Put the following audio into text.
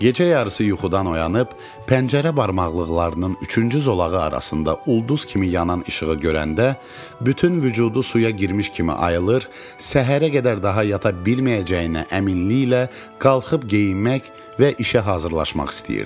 Gecə yarısı yuxudan oyanıb, pəncərə barmaqlıqlarının üçüncü zolağı arasında ulduz kimi yanan işığı görəndə bütün vücudu suya girmiş kimi ayılır, səhərə qədər daha yata bilməyəcəyinə əminliklə qalxıb geyinmək və işə hazırlaşmaq istəyirdi.